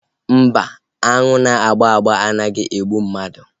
Mba, aṅụ na-agba agba anaghị egbu mmadụ